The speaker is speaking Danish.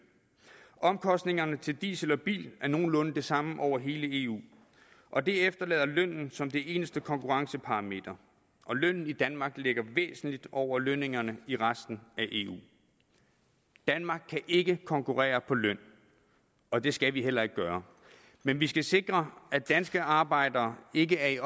omkostningerne til diesel og bil er nogenlunde de samme over hele eu og det efterlader lønnen som det eneste konkurrenceparameter og lønnen i danmark ligger væsentligt over lønningerne i resten af eu danmark kan ikke konkurrere på løn og det skal vi heller ikke gøre men vi skal sikre at danske arbejdere ikke er i